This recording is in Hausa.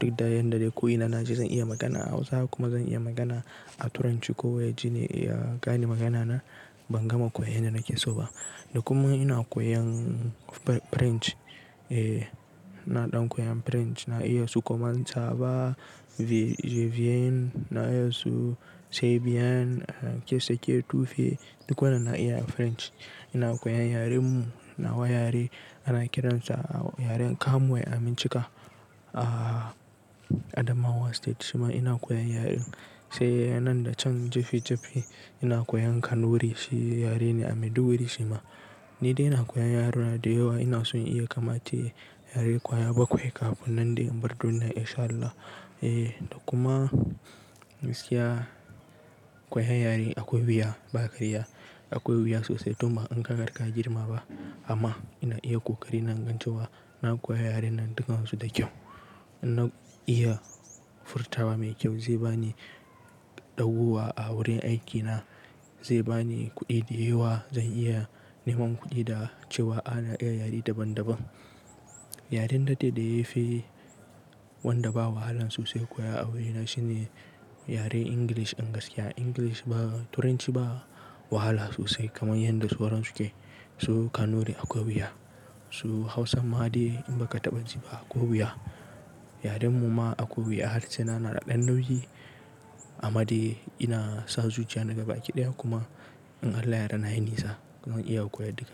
Duk da yanda da ko ina na je zan iya magana a Hausa kuma zan iya magana a Turanchi ko wa ya jini ya gane magana na ban gama koya yanda nake so ba. Da kuma ina koyan French. Eh na ɗan koyan French na iya su koman sava, vivien na iya su sebien, sake tufi duk wannan na iya French. Ina koyan yaren mu nawa yare ana kiransa yaren Kamwe a Minchika a Adamawa state shima ina koyan yaren sai nan da can jefi jefi ina koyan Kanuri shi yare ne a Maiduguri shima. Ni dai ina koyan yaruna da yawa ina son iya kama ta yare kwaya bakwai kafin nan dai in bar duniya In Shaa Allah. Eh da kuma gaskiya koyan yare akwai wuya ba karya. Akwai wuya sosai tun ba in ka riga ka girma ba amma ina iya ƙoƙari na in gan cewa. Na koya yaren nan dukan su da kyau. Na iya furtawa mai kyau zai bani dagowa a wurin aikina, zai bani kuɗi da yawa zan iya neman kuɗi da cewa ana iya yare daban daban. Yaren da dai da yafi wanda ba wahala sosai koya a wurina shine yaren Ingilish din gaskiya Ingilish ba Turanchi ba wahala sosai kamar yanda sauran suke. Su Kanuri akwai wuya, su Hausan ma dai in ba ka taɓa ji ba akwai wuya. Yaren mu ma akwai wuya harshe na na da ɗan nauyi amma dai ina sa zuciya na ga baki ɗaya kuma in Allah ya yarda nayi nisa zan iya koya duka.